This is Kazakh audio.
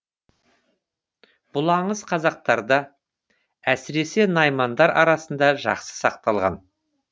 бұл аңыз қазақтарда әсіресе наймандар арасында жақсы сақталған